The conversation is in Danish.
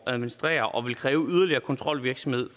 at administrere og vil kræve yderligere kontrolvirksomhed